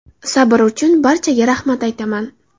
Sabr uchun barchaga rahmat aytaman.